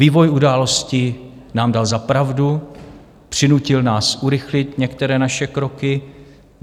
Vývoj událostí nám dal za pravdu, přinutil nás urychlit některé naše kroky.